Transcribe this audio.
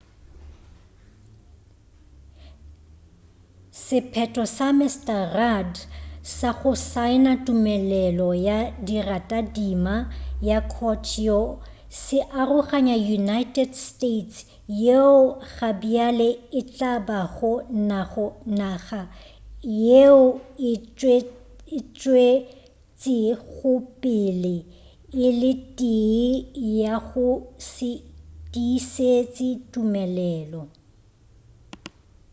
sephetho sa mr rudd sa go saena tumelelo ya leratadima la kyoto se aroganya united states yeo gabjale e tla bago naga yeo e tšwetšegopele e le tee ya go se tiišetše tumelelo